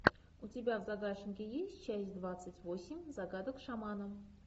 у тебя в загашнике есть часть двадцать восемь загадок шамана